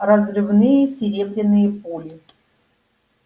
разрывные серебряные пули